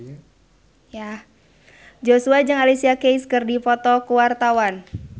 Joshua jeung Alicia Keys keur dipoto ku wartawan